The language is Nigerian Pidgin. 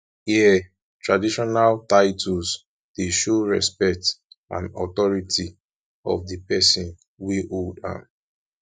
here traditional titles dey show respect and authority of di pesin wey hold am